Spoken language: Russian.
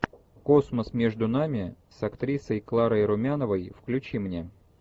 космос между нами с актрисой кларой румяновой включи мне